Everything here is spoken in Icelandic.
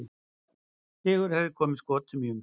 Sigur hefði komið Skotum í umspil.